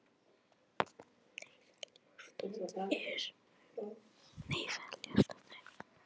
Nei, það ljótasta er.